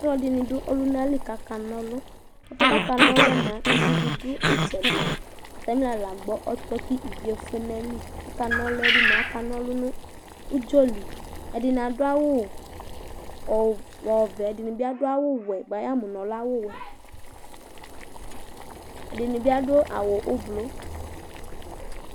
ɔlɔdini dʋbɔlʋnali kʋ aka nɔlʋ, ɛƒʋɛ kʋ aka nɔlʋɛ mʋa ivi di dʋ itsɛdi, atamila la agbɔ ɔtɔ kʋ iviɛ ɛƒʋɛ nʋ ayili, aka nɔlʋɛ bi mʋa aka nɔlʋ nʋ ʋdzɔ li, ɛdini adʋ awʋ ɔvɛ, ɛdinibi adʋ awʋ ɔwɛbbʋa yamʋ nʋ ɔlɛ awʋ wɛ, ɛdinibi adʋ awʋ ɔblɔ